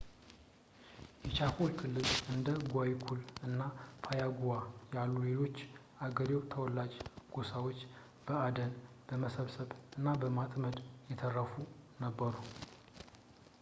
የቻኮ ክልል እንደ ጓይኩሩ እና ፓያጉዋ ያሉ ሌሎች የአገሬው ተወላጅ ጎሳዎች በአደን ፣ በመሰብሰብ እና በማጥመድ የተረፉ ነበሩ